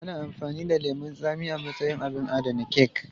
Ana amfani da lemun tsami a matsayin abin adana kek.